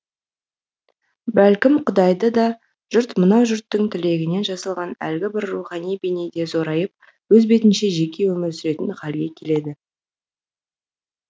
бәлкім құдайды да жұрт мынау жұрттың тілегінен жасалған әлгі бір рухани бейне де зорайып өз бетінше жеке өмір сүретін халге келеді